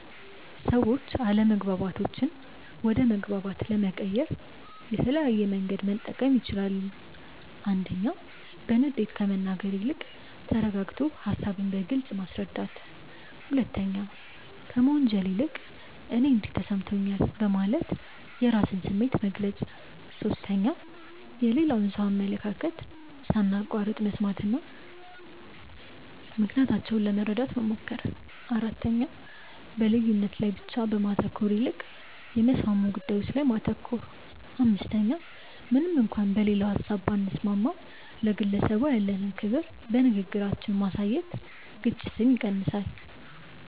ሰዎች አለመግባባቶችን ወደ መግባባት ለመቀየር የተለያየ መንገድ መጠቀም ይችላሉ፦ 1. በንዴት ከመናገር ይልቅ ተረጋግቶ ሃሳብን በግልጽ ማስረዳት። 2. ከመወንጀል ይልቅ "እኔ እንዲህ ተሰምቶኛል" በማለት የራስን ስሜት መግለጽ። 3. የሌላውን ሰው አመለካከት ሳናቋርጥ መስማትና ምክንያታቸውን ለመረዳት መሞከር። 4. በልዩነት ላይ ብቻ ከማተኮር ይልቅ የሚያስማሙ ጉዳዮች ላይ ማተኮር። 5. ምንም እንኳን በሌላው ሀሳብ ባንስማማም፣ ለግለሰቡ ያለንን ክብር በንግግራችን ማሳየት ግጭትን ይቀንሳል።